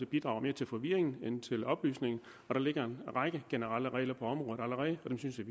bidrager mere til forvirring end til oplysning og der ligger en række generelle regler på området allerede